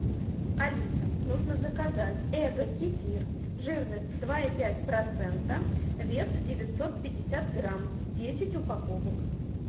алиса нужно заказать эго кефир жирность два и пять процента вес девятьсот пятьдесят грамм десять упаковок